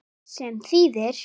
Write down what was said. Þú varst minn besti vinur.